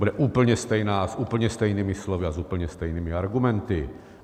Bude úplně stejná s úplně stejnými slovy a s úplně stejnými argumenty.